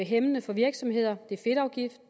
hæmmende for virksomheder det er fedtafgift